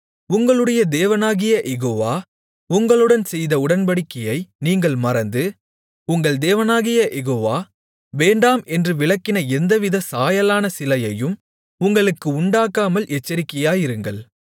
உங்களுடைய தேவனாகிய யெகோவா உங்களுடன் செய்த உடன்படிக்கையை நீங்கள் மறந்து உங்கள் தேவனாகிய யெகோவா வேண்டாம் என்று விலக்கின எவ்வித சாயலான சிலையையும் உங்களுக்கு உண்டாக்காமல் எச்சரிக்கையாயிருங்கள்